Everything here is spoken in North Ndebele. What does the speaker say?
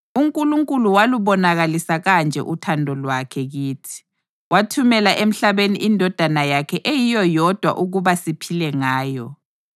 UNkulunkulu walubonakalisa kanje uthando lwakhe kithi: Wathumela emhlabeni iNdodana yakhe eyiyo yodwa ukuba siphile ngayo.